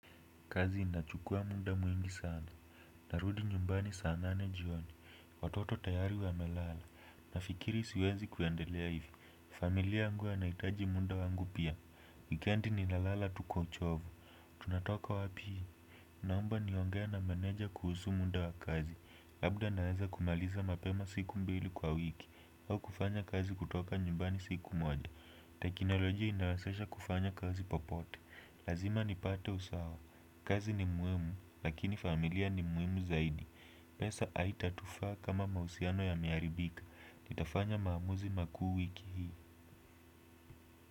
Kazi inachukua muda mwingi sana. Narudi nyumbani saa nane jioni. Watoto tayari wamelala. Nafikiri siwezi kuendelea hivi. Familia yangu yanahitaji muda wangu pia wikendi ninalala tu kwa uchovu. Tunatoka wapi. Naomba niongee na meneja kuhusu muda wa kazi. Labda naweza kumaliza mapema siku mbili kwa wiki. Au kufanya kazi kutoka nyumbani siku moja. Teknolojai inawezesha kufanya kazi popote. Lazima nipate usawa. Kazi ni muhimu, lakini familia ni muhimu zaidi. Pesa haita tufaa kama mahusiano yame haribika. Nitafanya maamuzi makuu wiki hii.